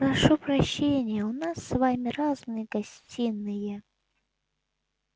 прошу прощения у нас с вами разные гостиные